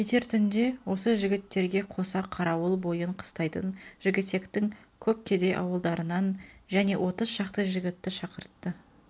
кетер түнде осы жігіттерге қоса қарауыл бойын қыстайтын жігітектің көп кедей ауылдарынан және отыз шақты жігітті шақыртты